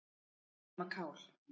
Nema kál.